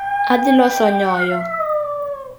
Adhi loso nyoyo